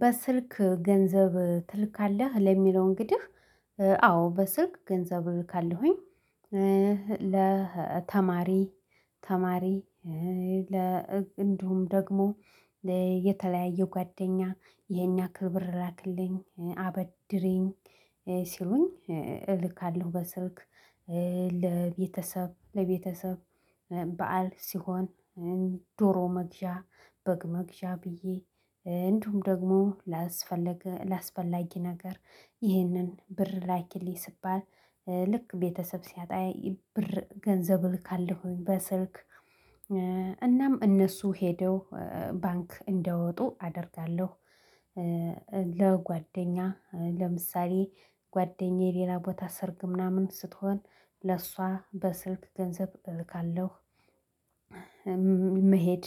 በስልክ ገንዘብ ትልካለህ ለሚለው እንግዲህ አዎ በስልክ ገንዘብ እልካለሁኝ ለተማሪ ተማሪ ለ እንዲሁም ደግሞ የተለያየ ጓደኛ ይሄን ያክል ብር ላኩልኝ አበድሪኝ ሲሉኝ እልካለሁ በስልክ ለቤተሰብ ለቤተሰብ በዓል ሲሆን ዶሮ መግዣ በግ መግዣ ብዬ እንዲሁም ደግሞ ላስፈለገ ላስፈላጊ ነገር ይህንን ብር ላኪልኝ ስባል ልክ ቤተሰብ ሲያጣ ብር ገንዘብ እልካለሁኝ በስልክ እናም እነሱ ሄደው ባንክ እንዲያወጡ አደርጋለሁ። ለጓደኛ ለምሳሌ ጓደኛዬ ሌላ ቦታ ሰርግ ምናምን ስትሆን ለእሷ በስልክ ገንዘብ እልካለሁ። መሄድ